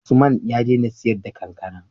Usman ya dena siyar da kankAna